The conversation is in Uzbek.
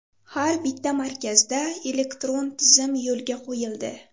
Har bitta markazda elektron tizim yo‘lga qo‘yildi.